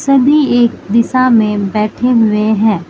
सभी एक दिशा में बैठे हुए हैं।